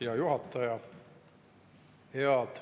Hea juhataja!